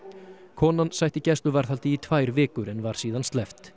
konan sætti gæsluvarðhaldi í tvær vikur en var síðan sleppt